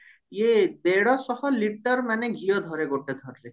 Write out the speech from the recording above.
ଦେଢଶହ liter ଘିଅ ଧରେ ମାନେ ଗୋଟେ ଥରରେ